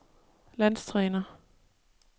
landstræner